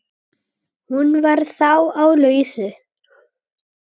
Hún var þá á lausu!